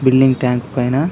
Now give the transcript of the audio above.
building tank పైన --